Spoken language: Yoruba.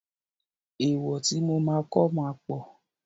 Èèwọ̀ tí mo máa kọ́ ma pọ̀.